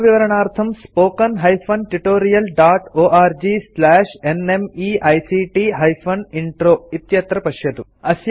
अधिकविवरणार्थं spoken hyphen tutorial dot org slash nmeict hyphen intro इत्यत्र पश्यन्तु